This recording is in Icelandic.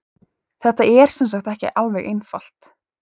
Þetta er sem sagt ekki alveg einfalt.